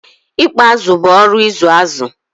Ikpa azụ bụ oru ịzụ azụ̀.